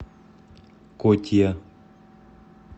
котия